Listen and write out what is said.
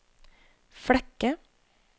Flekke